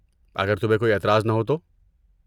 اگر تمہیں کوئی اعتراض نہ ہو تو۔